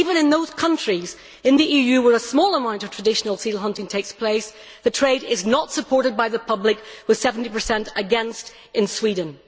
Even in those countries in the EU where a small amount of traditional seal hunting takes place, the trade is not supported by the public, with 70 against in Sweden.